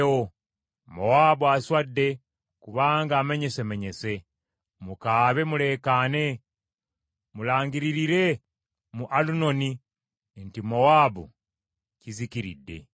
Mowaabu aswadde kubanga amenyesemenyese. Mukaabe muleekaane! Mulangiririre mu Alunoni nti Mowaabu kizikiridde.